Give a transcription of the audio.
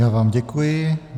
Já vám děkuji.